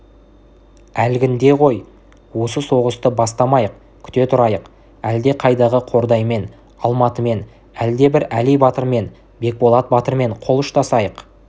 әлгінде ғой осы соғысты бастамайық күте тұрайық әлдеқайдағы қордаймен алматымен әлдебір әли батырмен бекболат батырмен қол ұштасайық